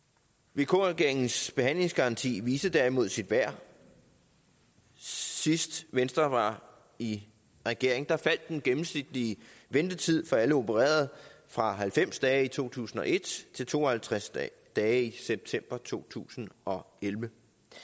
vk regeringens behandlingsgaranti viste derimod sit værd sidst venstre var i regering faldt den gennemsnitlige ventetid for alle opererede fra halvfems dage i to tusind og et til to og halvtreds dage i september to tusind og elleve